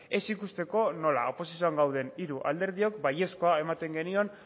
ez ikusteko nola oposizioan gauden hiru alderdiok baiezkoa ematen genion